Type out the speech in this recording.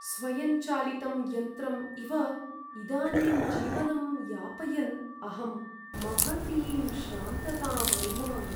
स्वयंचालितं यन्त्रम् इव इदानीं जीवनं यापयन् अहं महतीं श्रान्तताम् अनुभवामि।